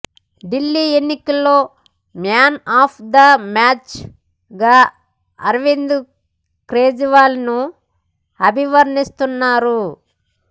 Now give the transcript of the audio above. ఢిల్లీ ఎన్నికల్లో man of the మ్యాచ్గా అర్వింద్ కేజ్రీవాల్ను అభివర్ణిస్తున్నారు